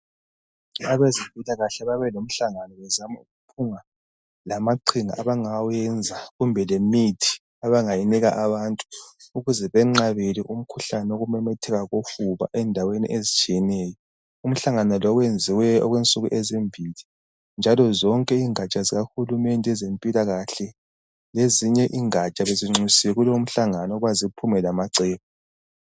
abezempilakhale babelomhlangano bezama ukuphuma lamaqhinga abangawenza lemithiu abangayinika abantu ukuze benqabele umkhuhlane wokumemetheka kofuba endaweni ezitshiyeneyo umhlangano lo wenziwe okwensuku ezimbili njalo zonke ingatsha zikahulumende ezempilakahle lezinye ingatsha bezinxusiwe kulomhlangano ukuba ziphume lamacebo